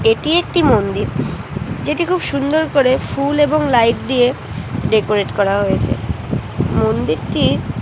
এটি একটি মন্দির যেটি খুব সুন্দর করে ফুল এবং লাইট দিয়ে ডেকোরেট করা হয়েছে মন্দিরটির ।